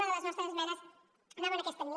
una de les nostres esmenes anava en aquesta línia